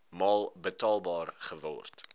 maal betaalbaar geword